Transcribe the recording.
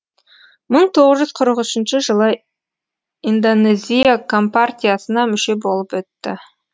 мың тоғыз жүз қырық үшінші жылы индонезия компартиясына мүше болып өтті